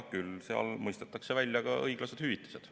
Küll seal mõistetakse välja õiglased hüvitised.